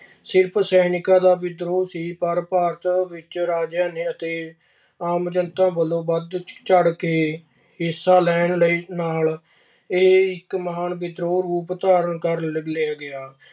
ਸਿਰਫ਼ ਸੈਨਿਕਾਂ ਦਾ ਵਿਦਰੋਹ ਸੀ ਪਰ ਭਾਰਤ ਵਿੱਚ ਰਾਜਿਆਂ ਨੇ ਅਤੇ ਆਮ ਜਨਤਾ ਵੱਲੋਂ ਵਧ-ਚੜ੍ਹ ਕੇ ਹਿੱਸਾ ਲੈਣ ਲਈ ਅਹ ਨਾਲ ਇਹ ਇੱਕ ਮਹਾਨ ਵਿਦਰੋਹ ਦਾ ਰੂਪ ਧਾਰਨ ਕਰ ਗਿਆ।